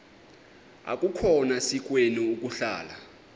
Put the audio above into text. akukhona sikweni ukuhlala